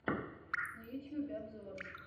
на ютьюбе обзоры